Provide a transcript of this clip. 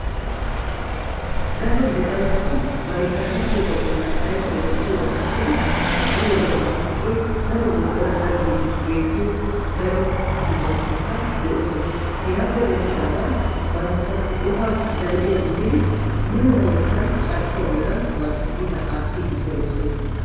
Daro luxanchchati bantta luxiyooga bolli ayfiyaa wottiyooga aggidi ha'i wodiyan marccoy daro wozana gaggiidi beettiyo daro luxanchchatikka de'ees. Hegappe denddidaagagan bantta qopaa zal"iyaw immodi mule gallassan bantta qopa carkkuwaan aattiidi pe'oosona.